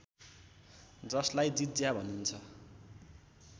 जसलाई जिज्या भनिन्छ